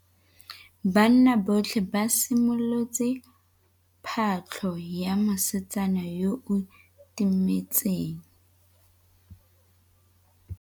Banna botlhê ba simolotse patlô ya mosetsana yo o timetseng.